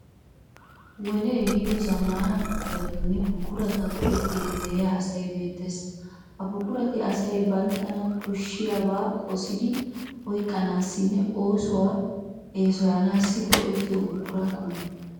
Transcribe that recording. Wodee ehiido zammaana buquratinne buqurata go'ettiiddi de'iya asay beettees. Ha buqurati asay banttana koshshiyabaa qosidi oyqqanaassinne oosuwa eesoyanaassi go'ettiyo buqura qommo.